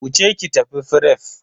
Wuce ki tafi fref.